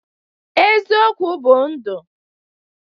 Eziokwu bụ ndụ.